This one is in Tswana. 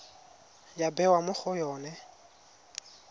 ya bewa mo go yone